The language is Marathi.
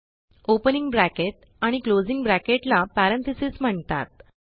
ओपनिंग ब्रॅकेट आणि क्लोजिंग ब्रॅकेट ला पॅरेंथेसिस म्हणतात